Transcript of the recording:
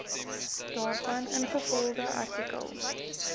daarvan ingevolge artikel